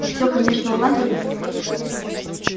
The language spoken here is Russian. и все конечно уладилось